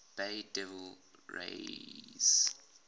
bay devil rays